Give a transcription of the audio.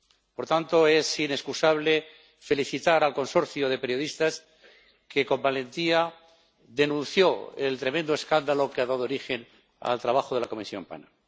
Por tanto, es inexcusable felicitar al consorcio de periodistas que, con valentía, denunció el tremendo escándalo que ha dado origen al trabajo de la Comisión PANA.